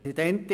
Grossrat